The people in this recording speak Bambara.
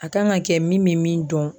A kan ka kɛ min bɛ min dɔn.